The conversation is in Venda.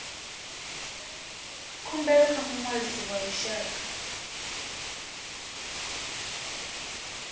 khumbelo kha muṅwalisi wa vhushaka